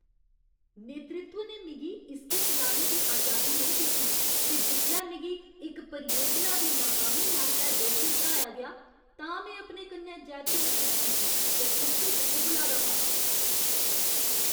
नेतृत्व ने मिगी इसगी चलाने दी अजादी नेईं दित्ती ते जिसलै मिगी इक परियोजना दी नाकामी आस्तै दोशी ठर्हाया गेआ तां में अपने कन्नै जैदती मसूस कीती ते गुस्से च उब्बला दा हा।